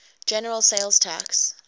general sales tax